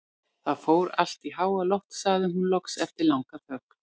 Það fór allt í háaloft, sagði hún loks eftir langa þögn.